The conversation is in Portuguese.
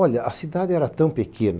Olha, a cidade era tão pequena.